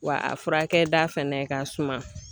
Wa a furakɛda fɛnɛ ka suma.